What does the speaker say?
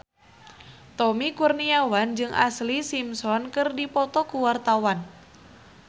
Tommy Kurniawan jeung Ashlee Simpson keur dipoto ku wartawan